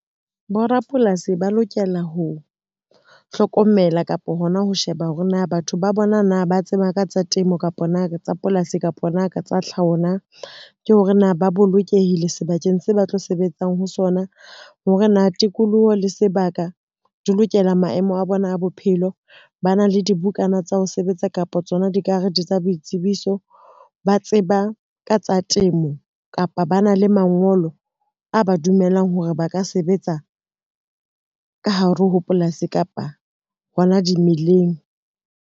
Borapolasi ba lokela ho hlokomela kapo hona ho sheba hore na batho ba bona na ba tseba ka tsa temo, kapa na ka tsa polasi, kapa nako tsa tlhaho na. Ke hore na ba bolokehile sebakeng se ba tlo sebetsang ho sona hore na tikoloho le sebaka di lokela maemo a bona a bophelo. Ba na le dibukana tsa ho sebetsa kapa tsona dikarete tsa boitsebiso, ba tseba ka tsa temo kapa ba na le mangolo a ba dumelang hore ba ka sebetsa ka hare ho polasi kapa hona dimeleng.